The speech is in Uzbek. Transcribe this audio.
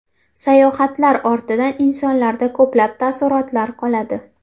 Sayohatlar ortidan insonlarda ko‘plab taassurotlar qoladi.